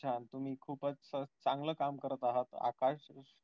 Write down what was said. तुम्ही खूपच चांगलं काम करत अहात आकाश